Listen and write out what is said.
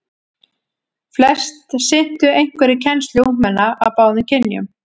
Flest sinntu einhverri kennslu ungmenna af báðum kynjum.